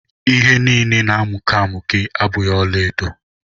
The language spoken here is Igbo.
All that glitters are not gold.